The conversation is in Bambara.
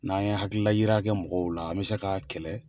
N'an ye hakili layira kɛ mɔgɔw la an bɛ se k'a kɛlɛ.